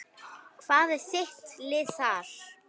Hvað er þitt lið þar?